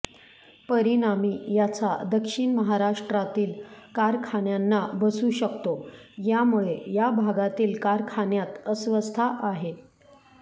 परिणामी याचा दक्षिण महाराष्ट्रातील कारखान्यांना बसू शकतो यामुळे या भागातील कारखान्यांत अस्वसथता आहे